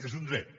és un dret